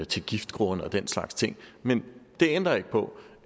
til giftgrunde og den slags ting men det ændrer ikke på